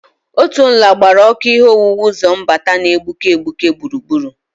Otu nla gbara ọkụ ihe owuwu ụzọ mbata na-egbuke egbuke gburugburu.